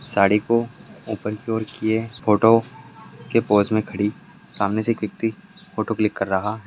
साडी को ऊपर के ओर किये। फोटो के पोज़ में खड़ी सामने से एक व्यक्ति फोटो क्लिक कर रहा--